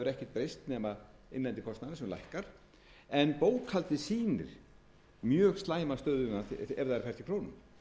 breyst nema innlendi kostnaðurinn sem lækkar en bókhaldið sýnir mjög slæma stöðu ef það er fært í krónum